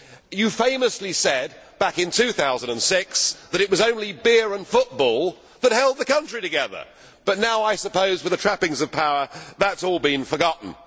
You famously said, back in 2006, that it was only beer and football that held the country together. Now, I suppose, with the trappings of power, that has all been forgotten!